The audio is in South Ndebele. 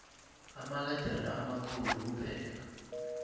amaledere amakhulu kuphela